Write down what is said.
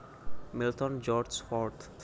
Milton George Fort